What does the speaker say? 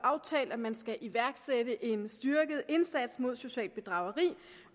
aftalt at man skal iværksætte en styrket indsats mod socialt bedrageri